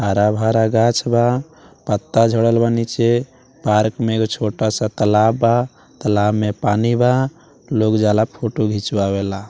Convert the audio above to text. हरा-भरा गाछ बा पत्ता झड़ल बा नीचे पार्क में एगो छोटा सा तालाब बा तालाब में पानी बा लोग जाला फोटो खिंचवावेला --